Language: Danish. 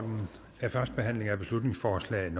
forslaget